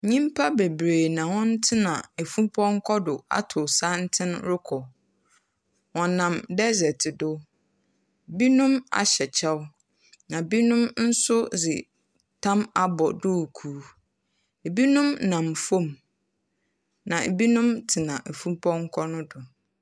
Nyimpa beberee na hɔn tena afupɔnkɔ do atow santsen rokɔ. Wɔnam dessert do. Binom ahyɛ kyɛw. Na binom nso dze tam abɔ duukuu. Binom nam famu. Na binom tsena afupɔnkɔ no do.